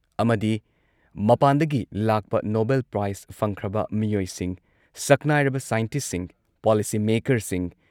ꯑꯃꯗꯤ ꯃꯄꯥꯟꯗꯒꯤ ꯂꯥꯛꯄ ꯅꯣꯚꯦꯜ ꯄ꯭ꯔꯥꯏꯖ ꯐꯪꯈ꯭ꯔꯕ ꯃꯤꯑꯣꯏꯁꯤꯡ, ꯁꯛꯅꯥꯏꯔꯕ ꯁꯥꯏꯟꯇꯤꯁꯠꯁꯤꯡ, ꯄꯣꯂꯤꯁꯤ ꯃꯦꯛꯀꯔꯁꯤꯡ